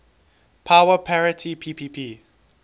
power parity ppp